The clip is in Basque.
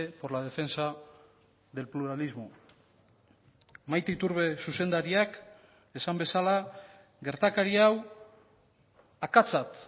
por la defensa del pluralismo maite iturbe zuzendariak esan bezala gertakari hau akatsat